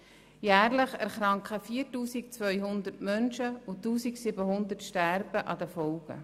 Jährlich erkranken 4200 Menschen und 1700 sterben an den Folgen.